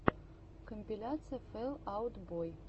компиляция фэл аут бой